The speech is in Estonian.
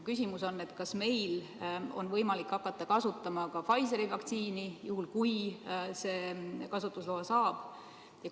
Küsimus on, kas meil on võimalik hakata kasutama ka Pfizeri vaktsiini, juhul kui see kasutusloa saab.